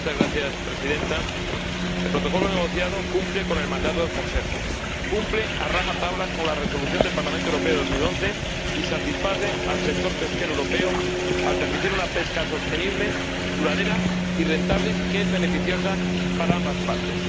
Señora Presidenta, el Protocolo negociado cumple con el mandato del Consejo, cumple a rajatabla con la Resolución del Parlamento Europeo de 2011 y satisface al sector pesquero europeo al permitir una pesca sostenible, duradera y rentable que es beneficiosa para ambas partes.